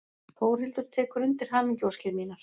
Þórhildur tekur undir hamingjuóskir mínar.